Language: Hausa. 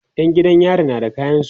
ta Saka rigar makaranta